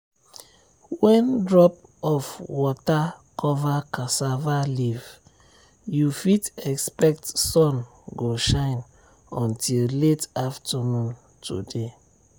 when drop of water cover cassava leaf you fit expect sun go shine until late afternoon today.